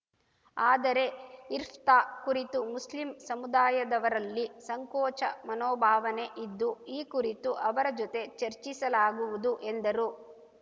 ಆದರೆ ಇರ್ಫ್ತಾ ಕುರಿತು ಮುಸ್ಲಿಂ ಸಮುದಾಯದವರಲ್ಲಿ ಸಂಕೋಚ ಮನೋಭಾವನೆ ಇದ್ದು ಈ ಕುರಿತು ಅವರ ಜೊತೆ ಚರ್ಚಿಸಲಾಗುವುದು ಎಂದರು